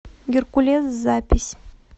геркулес запись